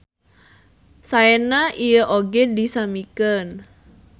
Saena ieu oge disamikeun.